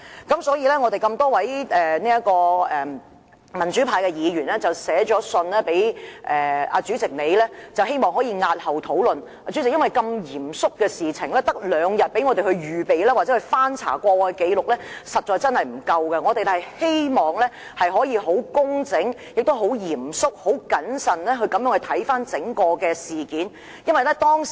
故此，多位民主派議員曾致函主席閣下，希望押後討論這個議程項目，因為如此嚴肅的一件事，議員只有兩天時間預備或翻查紀錄，實在不足夠；我們希望可以工整、嚴肅和謹慎地處理整件事。